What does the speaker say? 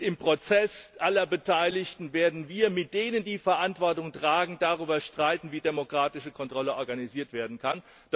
Im Prozess aller Beteiligten werden wir mit denen, die Verantwortung tragen, darüber streiten, wie demokratische Kontrolle organisiert werden kann.